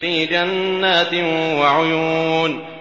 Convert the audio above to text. فِي جَنَّاتٍ وَعُيُونٍ